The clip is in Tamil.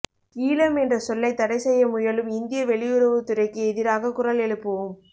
ஈழம் என்ற சொல்லை தடை செய்யமுயலும் இந்திய வெளியுறவுத்துறைக்கு எதிராக குரல் எழுப்புவோம்